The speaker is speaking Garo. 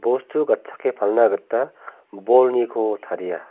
bostu gatchake palna gita bolniko taria.